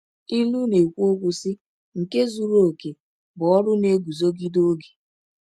Ilu na-ekwu, sị: “Nke zuru oke bụ ọrụ na-eguzogide oge.”